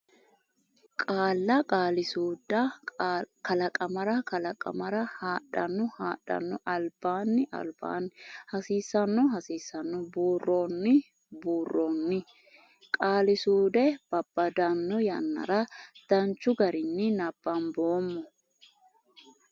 Qaalla Qaali suudda kalaqamara kalaq amara hadhanno hadh anno albaanni alb aanni hasiissanno has iisanno buurroonni buur roonni qaali suude babbaddanno yannara Danchu garinni nabbamboommo.